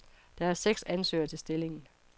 Der er seks ansøgere til stillingen.